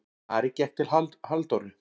Ari gekk til Halldóru.